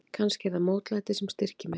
Kannski er það mótlætið sem styrkir mig.